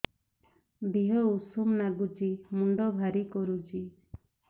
ଦିହ ଉଷୁମ ନାଗୁଚି ମୁଣ୍ଡ ଭାରି କରୁଚି